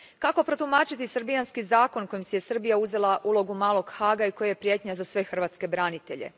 Kako protumačiti srbijanski zakon kojim si je Srbija uzela ulogu malog Haaga i koji je prijetnja za sve hrvatske branitelje?